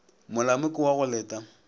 molamo ke wa go leta